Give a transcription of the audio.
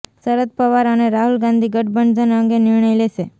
શરદ પવાર અને રાહુલ ગાંધી ગંઠબંધન અંગે નિર્ણય લેશે